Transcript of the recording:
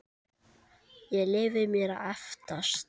Ég leyfi mér að efast.